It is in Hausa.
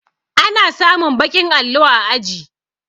Ana samun baƙin allo a aji